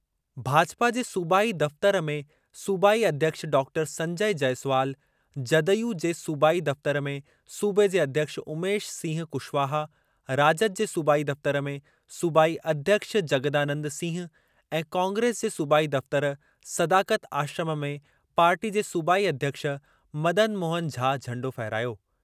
भाजपा जे सूबाई दफ़्तरु में सूबाई अध्यक्ष डॉक्टर संजय जयसवाल, जदयू जे सूबाई दफ़्तर में सूबे जे अध्यक्ष उमेश सिंह कुशवाहा, राजद जे सूबाई दफ़्तर में सूबाई अध्यक्ष ज॒गदानंद सिंह ऐं कांग्रेस जे सूबाई दफ़्तर सदाकत आश्रम में पार्टी जे सूबाई अध्यक्ष, मदन मोहन झा झंडो फहिरायो।